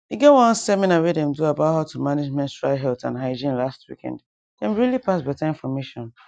e get one seminar when them do about how to manage menstrual health and hygiene last weekand them really pass better information